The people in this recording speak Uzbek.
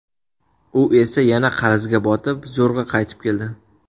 U esa yana qarzga botib, zo‘rg‘a qaytib keldi.